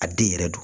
A den yɛrɛ do